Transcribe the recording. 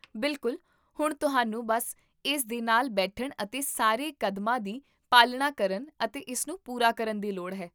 ਬਿਲਕੁਲ, ਹੁਣ ਤੁਹਾਨੂੰ ਬੱਸ ਇਸ ਦੇ ਨਾਲ ਬੈਠਣ ਅਤੇ ਸਾਰੇ ਕਦਮਾਂ ਦੀ ਪਾਲਣਾ ਕਰਨ ਅਤੇ ਇਸ ਨੂੰ ਪੂਰਾ ਕਰਨ ਦੀ ਲੋੜ ਹੈ